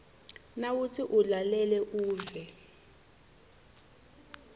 nawutsi ulalele uve